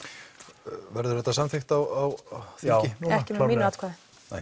verður þetta samþykkt á ekki með mínu atkvæði